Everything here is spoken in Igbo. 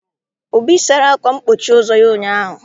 Obi sara akwa mkpochi ụzọ ya ụnyaahụ.